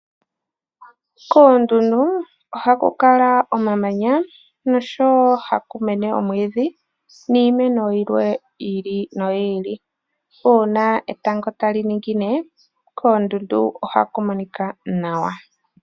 Koondundu ohaku kala omamanya noshowo ha kumene iimeno yilwe ya yoolokothana. Uuna etango tali ningine koondundu ohaku monika nawa.